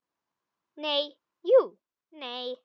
Nei, jú, nei.